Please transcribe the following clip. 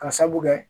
Ka sabu kɛ